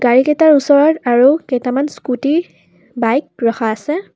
গাড়ী কেইটাৰ ওচৰত আৰু কেইটামান স্কুটী বাইক ৰখা আছে।